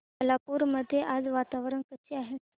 खालापूर मध्ये आज वातावरण कसे आहे